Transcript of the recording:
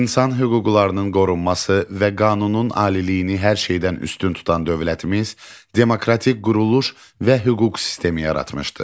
İnsan hüquqlarının qorunması və qanunun aliliyini hər şeydən üstün tutan dövlətimiz demokratik quruluş və hüquq sistemi yaratmışdı.